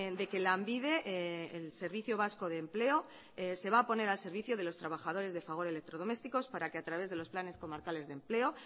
de que lanbide el servicio vasco de empleo se va a poner al servicio de los trabajadores de fagor electrodomésticos para que a través de los planes comarcales de empleo